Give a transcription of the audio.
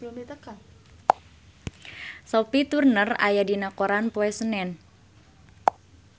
Sophie Turner aya dina koran poe Senen